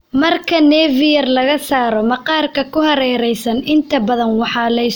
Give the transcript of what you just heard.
Marka nevi yar laga saaro, maqaarka ku hareeraysan inta badan waxaa la iskula jiidi karaa tolmo.